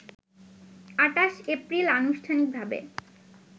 ২৮ April আনুষ্ঠানিকভাবে